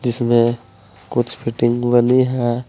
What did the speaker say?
इसमें कुछ फिटिंग बनी है।